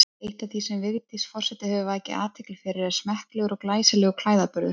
Eitt af því sem Vigdís forseti hefur vakið athygli fyrir er smekklegur og glæsilegur klæðaburður.